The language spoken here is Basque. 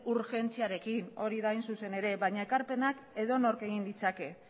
urgentziarekin hori da hain zuzen ere baina ekarpenak edonork egin ditzake